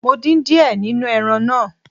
Mo dín díẹ̀ nínú ẹran náà.